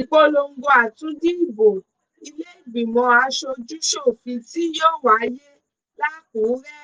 ìpolongo àtúndì ìbò ìlèégbìmọ̀ aṣojúṣòfin tí yóò wáyé làkúrẹ́